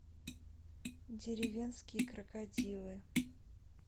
деревенские крокодилы